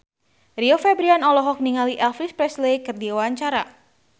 Rio Febrian olohok ningali Elvis Presley keur diwawancara